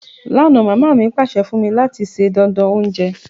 Lánà, mama mi pàsẹ fún mí láti se dánán ounje